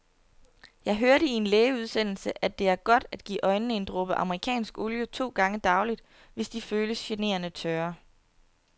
Jeg hørte i en lægeudsendelse, at det er godt at give øjnene en dråbe amerikansk olie to gange daglig, hvis de føles generende tørre.